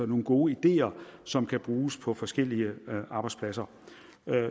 nogle gode ideer som kan bruges på forskellige arbejdspladser